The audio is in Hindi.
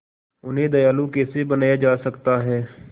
उन्हें दयालु कैसे बनाया जा सकता है